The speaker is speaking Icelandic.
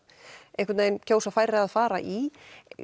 einhvern vegin kjósa færri að fara í